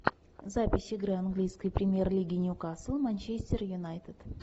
запись игры английской премьер лиги ньюкасл манчестер юнайтед